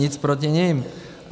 Nic proti nim.